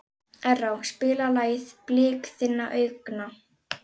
Erró, spilaðu lagið „Blik þinna augna“.